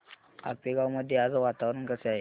आपेगाव मध्ये आज वातावरण कसे आहे